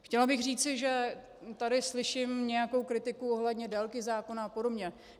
Chtěla bych říci, že tady slyším nějakou kritiku ohledně délky zákona a podobně.